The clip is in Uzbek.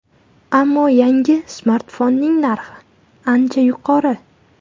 Ammo yangi smartfonning narxi ancha yuqori.